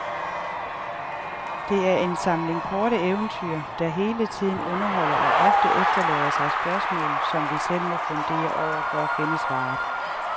Det er en samling korte eventyr, der hele tiden underholder og ofte efterlader sig spørgsmål, som vi selv må fundere over for at finde svaret.